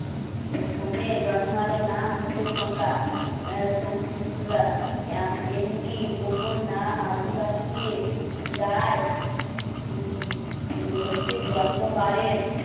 এই ফোনে জন্মালে নাম হতো তোমরা আ সোমরা এমনি কোনো নাম আদিবাসী যার